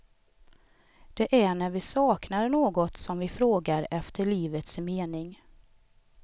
Det är när vi saknar något som vi frågar efter livets mening.